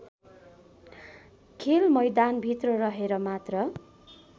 खेलमैदानभित्र रहेर मात्र